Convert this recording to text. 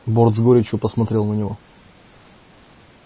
борт с горечью посмотрел на него